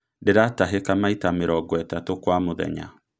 Ndĩratahika maiata mĩrongo ĩtatu kwa mũthenya